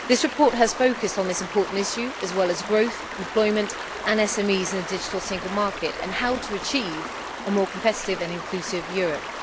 This report has focused on this important issue as well as growth, employment and SMEs in a digital single market and how to achieve a more competitive and inclusive Europe.